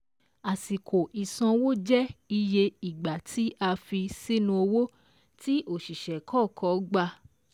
Àsìkò ìsanwó jẹ́ iye ìgbà tí a fi sínú owó tí òṣìṣẹ́ kọ̀ọ̀kan gbà